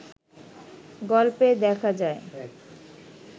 গল্পে দেখা যায়